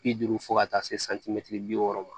Bi duuru fo ka taa se bi wɔɔrɔ ma